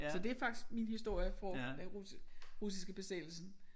Så det er faktisk min historie fra den rus russiske besættelsen